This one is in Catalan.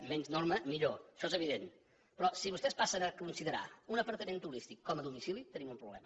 menys norma millor això és evident però si vostès passen a considerar un apartament turístic com a domicili tenim un problema